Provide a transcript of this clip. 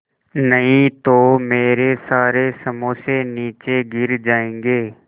नहीं तो मेरे सारे समोसे नीचे गिर जायेंगे